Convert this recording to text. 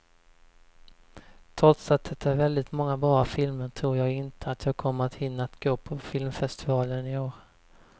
Trots att det är väldigt många bra filmer tror jag inte att jag kommer att hinna att gå på filmfestivalen i år.